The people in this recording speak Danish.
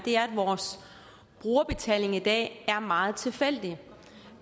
brugerbetaling i dag er meget tilfældig